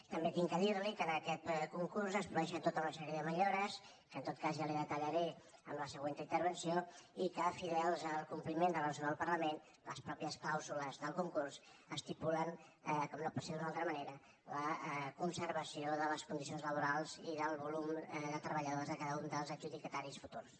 també he de dir li que en aquest concurs es produeixen tota una sèrie de millores que en tot cas ja li detallaré en la següent intervenció i que fidels al compliment de la resolució del parlament les mateixes clàusules del concurs estipulen com no pot ser d’una altra manera la conservació de les condicions laborals i del volum de treballadors de cada un dels adjudicataris futurs